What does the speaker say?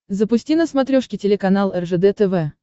запусти на смотрешке телеканал ржд тв